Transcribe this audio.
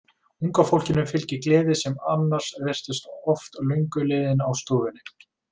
Unga fólkinu fylgdi gleði sem annars virtist oft löngu liðin á stofnuninni.